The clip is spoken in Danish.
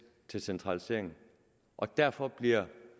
til centralisering og derfor bliver